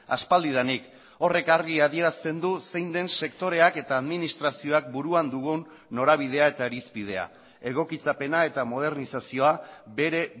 aspaldidanik horrek argi adierazten du zein den sektoreak eta administrazioak buruan dugun norabidea eta irizpidea egokitzapena eta modernizazioa bere